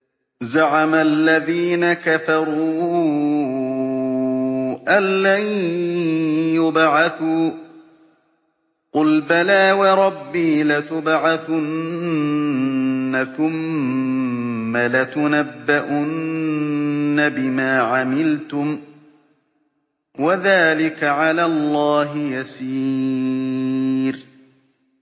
زَعَمَ الَّذِينَ كَفَرُوا أَن لَّن يُبْعَثُوا ۚ قُلْ بَلَىٰ وَرَبِّي لَتُبْعَثُنَّ ثُمَّ لَتُنَبَّؤُنَّ بِمَا عَمِلْتُمْ ۚ وَذَٰلِكَ عَلَى اللَّهِ يَسِيرٌ